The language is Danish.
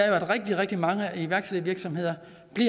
er at rigtig rigtig mange iværksættervirksomheder